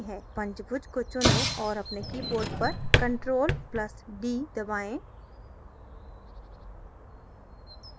पंचभुज को चुनें और अपने keyboard पर ctrl + d दबाएँ